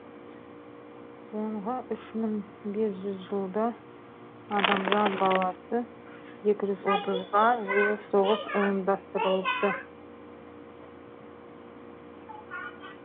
соңғы үш мың бес жылда адамзат баласы екі жүз отызға жуық соғыс ұйымдастырыпты